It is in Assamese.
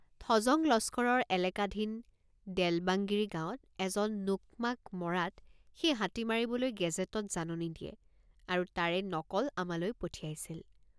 থজং লস্কৰৰ এলাকাধীন দেলবাংগিৰি গাঁৱত এজন নোক্মাক মৰাত সেই হাতী মাৰিবলৈ গেজেটত জাননী দিয়ে আৰু তাৰে নকল আমালৈ পঠাইছিল।